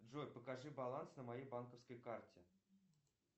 джой покажи баланс на моей банковской карте